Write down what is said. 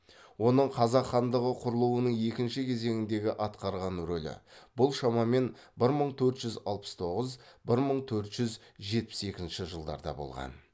оның қазақ хандығы құрылуының екінші кезеңдегі атқарған рөлі бұл шамамен бір мың төрт жүз алтыс тоғыз бір мың төрт жүз жетпіс екінші жылдарда болған